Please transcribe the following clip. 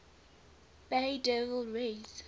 bay devil rays